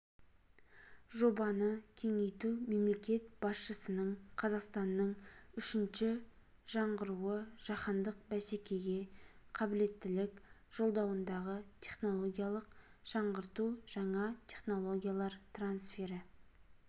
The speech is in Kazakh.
жобаны кеңейту мемлекет басшысының қазақстанның үшінші жаңғыруы жаһандық бәсекеге қабілеттілік жолдауындағы технологиялық жаңғырту жаңа технологиялар трансфері